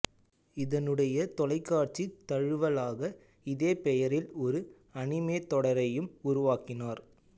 இதனுடைய தொலைக்காட்சித் தழுவலாக இதே பெயரில் ஒரு அனிமே தொடரையும் உருவாக்கினர்